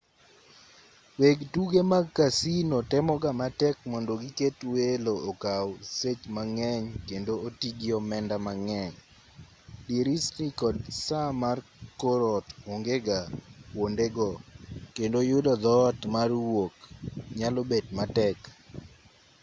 weg tuke mag casino temoga matek mondo giket welo okaw sech mang'eny kendo otii gi omenda mang'eny dirisni kod saa mar kor ot ongega kwondego kendo yudo dhoot mar wuok nyalo bet matek